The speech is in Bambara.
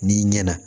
N'i ɲɛna